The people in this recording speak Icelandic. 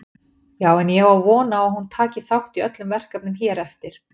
Já en ég á von á að hún taki þátt í öllum verkefnum hér eftir.